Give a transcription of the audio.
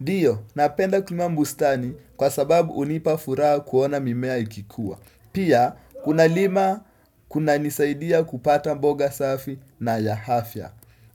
Ndiyo, napenda kulima bustani kwa sababu unipa furaha kuona mimea ikikua. Pia, kuna lima, kuna nisaidia kupata mboga safi na ya afya.